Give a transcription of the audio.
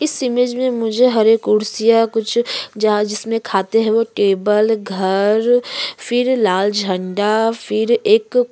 इस इमेज में मुझे हरे कुर्सियाँ कुछ जार जिसमें खाते हैं वो टेबल घर फिर लाल जंडा फिर एक --